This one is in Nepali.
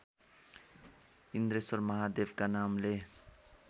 इन्द्रेश्वर महादेवका नामले